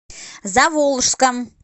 заволжском